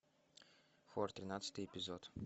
хор тринадцатый эпизод